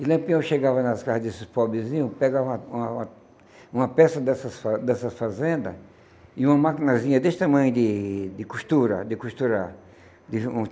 E Lampião chegava nas casas desses pobrezinhos, pegava uma uma uma peça dessas fa dessas fazendas e uma maquinazinha desse tamanho de de costura, de costurar.